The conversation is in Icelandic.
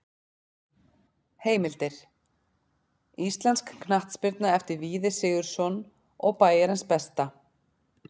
Heimildir: Íslensk knattspyrna eftir Víði Sigurðsson og Bæjarins besta.